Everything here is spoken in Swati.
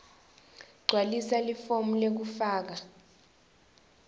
gcwalisa lifomu lekufaka